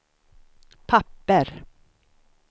papper